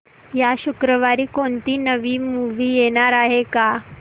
या शुक्रवारी कोणती नवी मूवी येणार आहे का